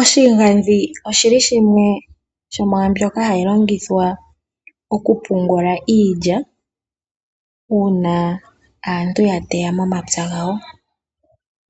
Oshigandhi oshili shimwe shomwaambyoka hayi longithwa Okupungula iilya uuna aantu ya teya momapya gawo.